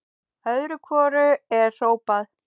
Öðru hvoru er hrópað.